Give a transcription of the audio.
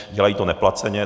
Dělají to neplaceně.